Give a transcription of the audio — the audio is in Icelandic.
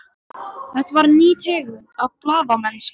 Þetta var ný tegund af blaðamennsku.